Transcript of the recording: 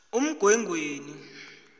umgwengweni